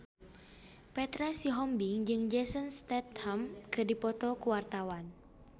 Petra Sihombing jeung Jason Statham keur dipoto ku wartawan